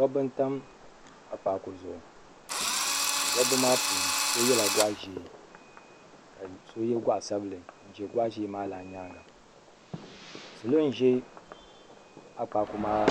dabba n tam akpaaku zuɣu dabba maa puuni so yɛla goɣa ʒiɛ ka so yɛ goɣa sabinli n ʒɛ goɣa ʒiɛ maa lan nyaanga salo n ʒɛ akpaaku maa